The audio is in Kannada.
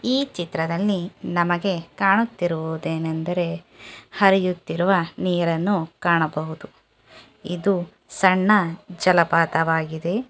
ಈ ಚಿತ್ರದಲ್ಲಿ ನಮಗೆ ಕಾಣುತ್ತಿರುವುದೇನೆಂದರೆ ಹರಿಯುತ್ತಿರುವ ನೀರನ್ನು ಕಾಣಬಹುದು. ಇದು ಸಣ್ಣ ಜಲಪಾತವಾಗಿದೆ.